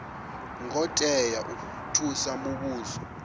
ngo tea u thusa muvhuso